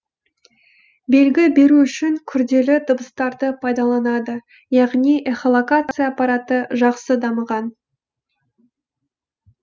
белгі беру үшін күрделі дыбыстарды пайдаланады яғни эхолокация аппараты жақсы дамыған